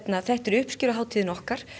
þetta er uppskeruhátíðin okkar